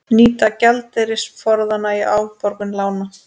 Nýta gjaldeyrisforðann í afborgun lána